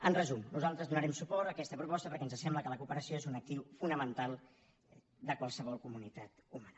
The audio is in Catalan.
en resum nosaltres donarem suport a aquesta proposta perquè ens sembla que la cooperació és un actiu fonamental de qualsevol comunitat humana